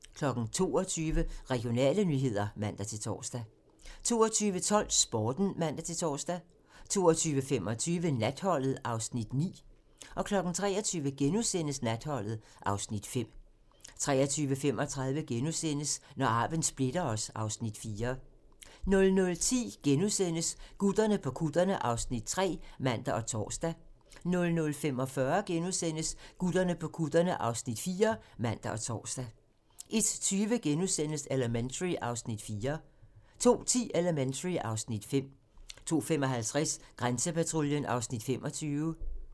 22:00: Regionale nyheder (man-tor) 22:12: Sporten (man-tor) 22:25: Natholdet (Afs. 9) 23:00: Natholdet (Afs. 5)* 23:35: Når arven splitter os (Afs. 4)* 00:10: Gutterne på kutterne (Afs. 3)*(man og tor) 00:45: Gutterne på kutterne (Afs. 4)*(man og tor) 01:20: Elementary (Afs. 4)* 02:10: Elementary (Afs. 5) 02:55: Grænsepatruljen (Afs. 25)